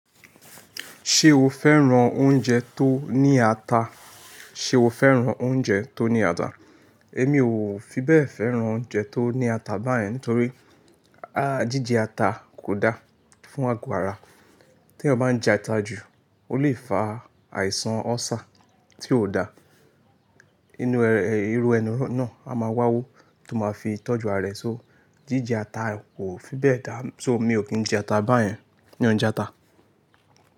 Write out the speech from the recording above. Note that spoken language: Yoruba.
Ṣé o fẹ́ran oúnjẹ tó ní ata? Ṣé o fẹ́ran oúnjẹ tó ní ata? Èmi ò fi bẹ́ẹ̀ fẹ́ran oúnjẹ tó ní ata báyẹn nítorí, jíjẹ ata kò da fún àgo ara. Tí eyan bá n jẹ ata jù o lè fa àìsàn ulcer tí ò da. Irú ẹni náà a máa wá wó tó máa fi tọ́jú ara e só. Jíjẹ ata kò fi bẹ́ẹ̀ dá, so mi ò kí jẹ ata báyẹn. Mi o n jẹ ata.